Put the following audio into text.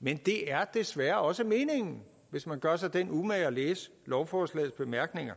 men det er desværre også meningen hvis man gør sig den umage at læse lovforslagets bemærkninger